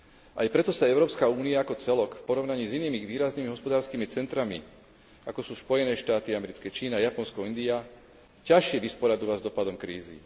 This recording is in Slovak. Aj preto sa Európska únia ako celok v porovnaní s inými výraznými hospodárskymi centrami, ako sú Spojené Štáty, Čína, Japonsko, India, ťažšie vysporadúva s dosahom krízy.